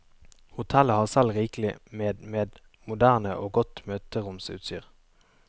Hotellet har selv rikelig med med moderne og godt møteromsutstyr.